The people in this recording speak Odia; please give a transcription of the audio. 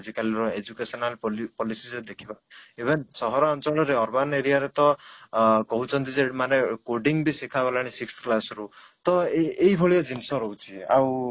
ଆଜିକାଲି ର educational policy ସହିତ ଦେଖିବାକୁ even ସହରାଞ୍ଚଳ ରେ urban area ରେ ତ ଅଂ କହୁଛନ୍ତି ଯେ ସେଇଠି ମାନେ coding ବିଶିଖାଗଲାଣି sixth class ରୁ ତ ଏଇ ଏଇଭଳିଆ ଜିନିଷ ରହୁଛି ଆଉ